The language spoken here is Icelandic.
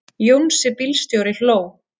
Jónsi bílstjóri hló.